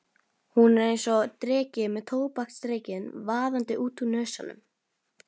Hún er einsog dreki með tóbaksreykinn vaðandi út úr nösunum.